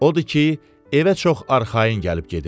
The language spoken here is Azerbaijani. Odur ki, evə çox arxayın gəlib gedirdi.